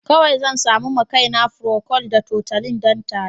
Kawai zan sami ma kaina procold da tutolin don tari.